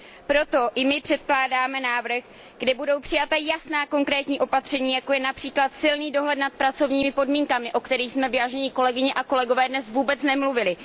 Proto i my předkládáme návrh, kde budou přijata jasná konkrétní opatření, jako je například silný dohled nad pracovními podmínkami, o kterých jsme, vážené kolegyně a kolegové, dnes vůbec nemluvili.